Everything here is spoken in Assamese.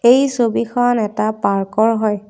এই ছবিখন এটা পাৰ্কৰ হয়।